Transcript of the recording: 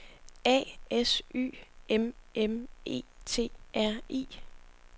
A S Y M M E T R I